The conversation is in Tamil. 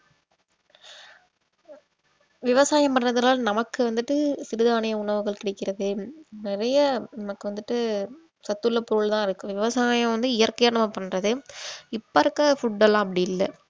விவசாயம் பண்றதுனால நமக்கு வந்துட்டு சிறுதானிய உணவுகள் கிடைக்கிறது நிறைய நமக்கு வந்துட்டு சத்துள்ள பொருள் தான் இருக்கு விவசாயம் வந்து இயற்கையா நம்ம பண்றது இப்ப இருக்கிற food எல்லாம் அப்படி இல்ல